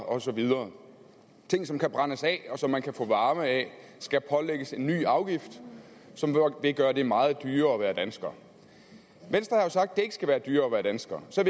og så videre ting som kan brændes af og som man kan få varme ud af skal pålægges en ny afgift som vil gøre det meget dyrere at være dansker venstre har jo sagt at det ikke skal være dyrere at være dansker så